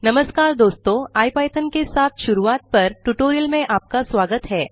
नमस्कार दोस्तों इपिथॉन के साथ शुरूआत पर ट्यूटोरियल में आपका स्वागत है